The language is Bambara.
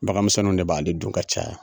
Bagan minsɛninw de b'ale dun ka caya.